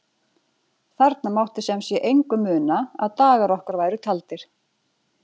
Þarna mátti sem sé engu muna að dagar okkar væru taldir.